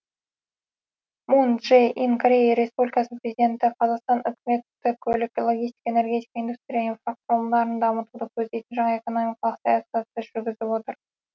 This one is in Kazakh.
мун чжэ ин корея республикасының президенті қазақстан үкіметі көлік логистика энергетика индустрия инфрақұрылымдарын дамытуды көздейтін жаңа экономикалық саясатты жүргізіп отыр